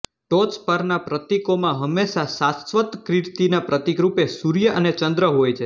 ટોચ પરના પ્રતીકોમાં હંમેશા શાશ્વત કીર્તિના પ્રતીક રૂપે સૂર્ય અને ચંદ્ર હોય છે